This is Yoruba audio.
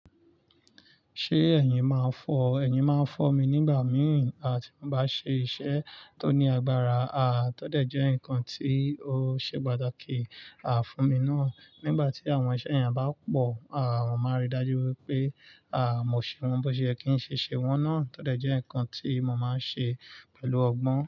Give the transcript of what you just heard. Ṣé ẹ̀yin máa ń fọ́? Ẹ̀yin máa ń fọ́ mi nígbà mìíràn tí mo bá ṣe iṣẹ́ tó ní agbára, à tọ́ dẹ̀ jẹ́ nǹkan tí ó ṣe pàtàkì, à fún mi ná. Nígbà tí àwọn iṣẹ́ yen bá pọ̀, à mo máa rí i dájú wípé, à mo ṣe wọ́n, bó ṣe kí n ṣe ṣe wọ́n náà. Tọ́ dẹ̀ jẹ́ ǹkan tí mo máa ń ṣe pẹ̀lú ọgbọ́n.